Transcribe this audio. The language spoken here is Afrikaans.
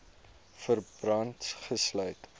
verband gesluit